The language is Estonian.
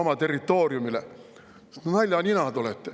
Naljaninad olete!